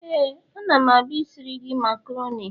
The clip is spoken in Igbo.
Éè, a ga m na-abia isiri gi macaroni.